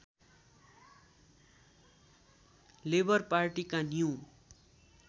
labour पार्टीका new